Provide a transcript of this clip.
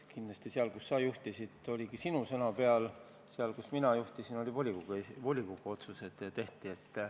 Kindlasti seal, kus sina juhtisid, oligi sinu sõna peal, aga seal, kus mina juhtisin, tehti volikogu otsuseid.